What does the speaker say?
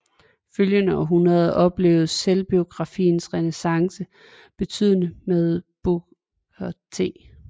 Følgende århundrede oplevedes selvbiografiens renæssance begyndende med Booker T